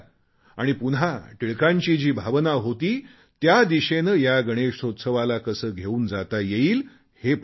आणि पुन्हा टिळकांची जी भावना होती त्या दिशेने या गणेशोत्सवाला कसे घेऊन जाता येईल हे पाहू या